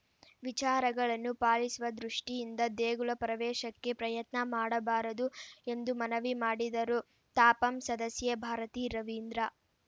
ವಿಚಾರಗಳನ್ನು ಪಾಲಿಸುವ ದೃಷ್ಟಿಯಿಂದ ದೇಗುಲ ಪರವೇಶಕ್ಕೆ ಪ್ರಯತ್ನ ಮಾಡಬಾರದು ಎಂದು ಮನವಿ ಮಾಡಿದರು ತಾಪಂ ಸದಸ್ಯೆ ಭಾರತಿ ರವಿಂದ್ರ